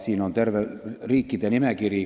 Siin on terve riikide nimekiri.